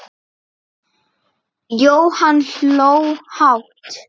Jóhann hló hátt.